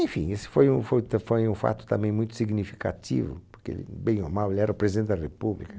Enfim, esse foi um foi t foi um fato também muito significativo, porque ele, bem ou mal, ele era o presidente da República.